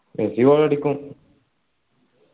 Messi goal അടിക്കും